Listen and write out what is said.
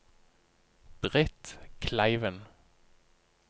Britt Kleiven